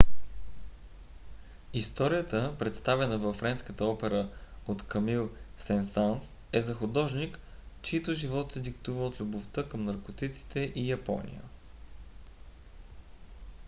историята представена във френската опера от камил сен санс е за художник чийто живот се диктува от любовта към наркотиците и япония.